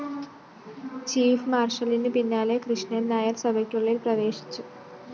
chief മാര്‍ഷലിന് പിന്നാലെ കൃഷ്ണന്‍നായര്‍ സഭയ്ക്കുള്ളില്‍ പ്രവേശിച്ചു